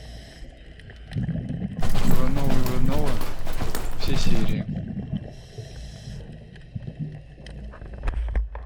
ивановы ивановы все серии